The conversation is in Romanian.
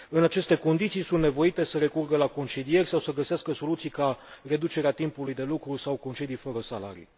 În aceste condiții, sunt nevoite să recurgă la concedieri sau să găsească soluții ca reducerea timpului de lucru sau concedii fără salarii.